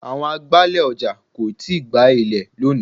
Àwọn agbálẹ̀ ọjà kò tíì gbá ilẹ̀ lónìí.